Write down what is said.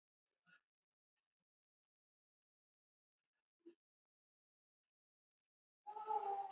Þinn Jónatan Ingi.